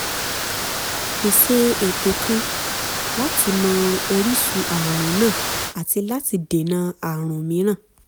pèsè ètò kan láti mọ orísun ààrùn náà àti láti dènà ààrùn mìíràn